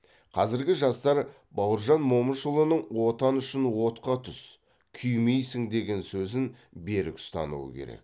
қазіргі жастар бауыржан момышұлының отан үшін отқа түс күймейсің деген сөзін берік ұстануы керек